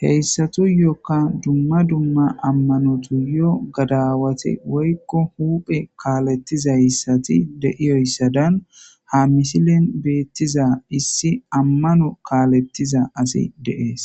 hesatuyoka duma duma ammanotuyo gadawati woylo huphe kalethiyaysati de'iyoysadan ha misilen betiza issi amano kalethiza asi de'es